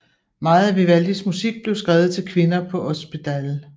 Meget af Vivaldis musik blev skrevet til kvinder på Ospedale